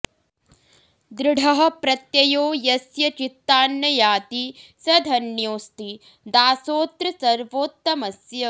दृढः प्रत्ययो यस्य चित्तान्न याति स धन्योऽस्ति दासोऽत्र सर्वोत्तमस्य